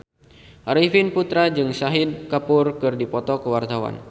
Arifin Putra jeung Shahid Kapoor keur dipoto ku wartawan